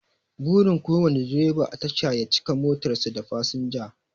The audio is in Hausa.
Burin kowane direba a tasha ya cika motar sa da fasinja